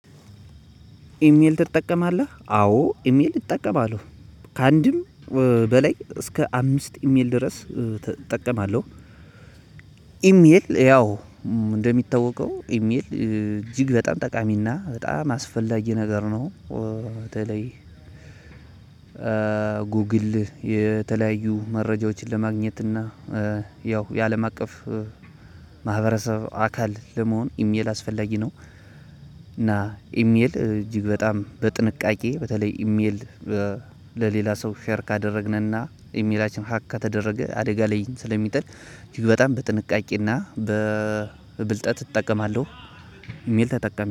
ኢሜል ትጠቀማለህ አዎ ኢሜል እጠቀማለሁ ከአንድም በላይ እስከ አምስት ኢሜል ድረስ እጠቀማለሁ። ኢሜል ያው እንደሚታወቀው ኢሜል እጅግ በጣም ጠቃሚና በጣም አስፈላጊ ነገር ነው። በተለይ ጉግል የተለያዩ መረጃዎችን ለማግኘት እና ያው የአለም አቀፍ ማህበረሰብ አካል ለመሆን ኢሜል አስፈላጊ ነው። እና ኢሜል እጅግ በጣም በጥንቃቄ በተለይ ኢሜል ለሌላ ሰው ሼር ካደረግንና ኢሜላችን ሀክ ከተደረገ አደጋ ላይ ስለሚጥል እጅግ በጣም በጥንቃቄና በብልጠት እጠቀማለሁ። ኢሜል ተጠቃሚ